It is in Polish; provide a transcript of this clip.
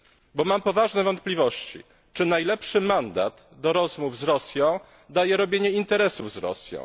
Bo mam poważne wątpliwości, czy najlepszy mandat do rozmów z Rosją daje robienie interesów z Rosją.